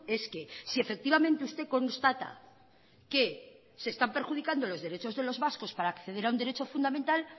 es que si efectivamente usted constata que se están perjudicando los derechos de los vascos para acceder a un derecho fundamental